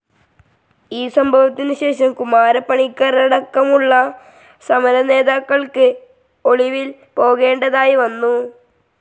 ഈ സംഭവത്തിന് ശേഷം കുമാരപ്പണിക്കരടക്കമുള്ള സമര നേതാക്കൾക്ക് ഒളിവിൽ പോകേണ്ടതായി വന്നു.